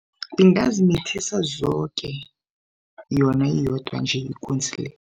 Ingazimithisa zoke yona iyodwa nje ikunzi le.